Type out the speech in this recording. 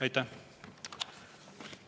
Aitäh!